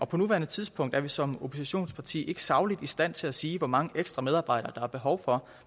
på nuværende tidspunkt er vi som oppositionsparti ikke sagligt i stand til at sige hvor mange ekstra medarbejdere der er behov for